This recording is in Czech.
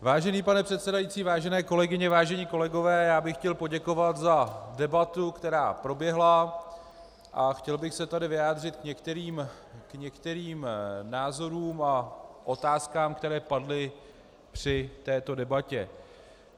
Vážený pane předsedající, vážené kolegyně, vážení kolegové, já bych chtěl poděkovat za debatu, která proběhla, a chtěl bych se tady vyjádřit k některým názorům a otázkám, které padly při této debatě.